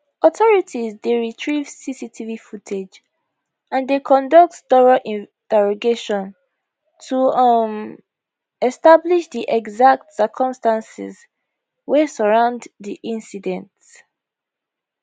authorities dey retrieve cctv footage and dey conduct thorough interrogation to um establish di exact circumstances wey surround di incident